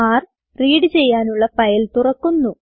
ർ റീഡ് ചെയ്യാനുള്ള ഫയൽ തുറക്കുന്നു